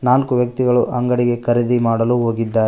ನಾಲ್ಕು ವ್ಯಕ್ತಿಗಳು ಅಂಗಡಿಗೆ ಖರೀದಿ ಮಾಡಲು ಹೋಗಿದ್ದಾರೆ.